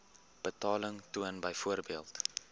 betaling toon byvoorbeeld